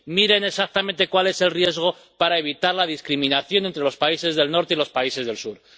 Miren exactamente cuál es el riesgo para evitar la discriminación entre los países del Norte y los países del Sur.